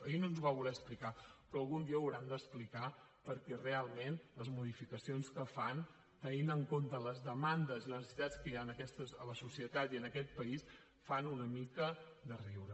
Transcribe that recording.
ahir no ens ho va voler explicar però algun dia ho hauran d’explicar perquè realment les modificacions que fan tenint en compte les demandes i les necessitats que hi ha a la societat i en aquest país fan una mica de riure